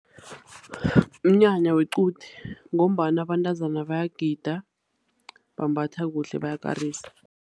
Mnyanya wequde ngombana abantazana bayagida, bambatha kuhle, bayakarisa.